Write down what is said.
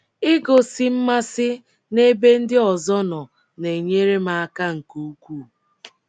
Igosi mmasị n’ebe ndị ọzọ nọ na - enyere m aka nke ukwuu.